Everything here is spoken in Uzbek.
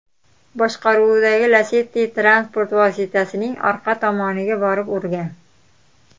boshqaruvidagi Lacetti transport vositasining orqa tomoniga borib urgan.